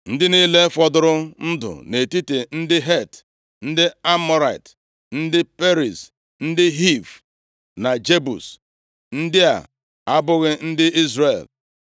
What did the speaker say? Ndị niile fọdụrụ ndụ nʼetiti ndị Het, ndị Amọrait, ndị Periz, ndị Hiv na Jebus (ndị a abụghị ndị Izrel),